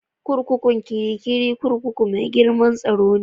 Kurkukun Kirikiri kurkuku mai girmar tsaro ne.